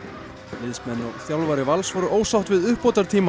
liðsmenn og þjálfari Vals voru ósátt við